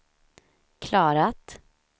klarat